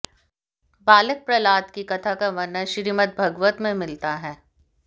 बालक प्रह्लाद की कथा का वर्णन श्रीमद्भागवत में मिलता है